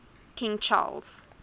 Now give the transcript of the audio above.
king charles